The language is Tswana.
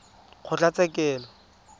kgotlatshekelo